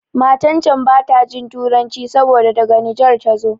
Matan can bata jin Turanci saboda daga Nijar tazo.